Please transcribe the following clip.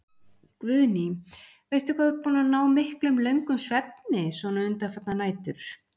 Guðný: Veistu hvað þú ert búinn að ná miklum, löngum svefni svona undanfarnar nætur?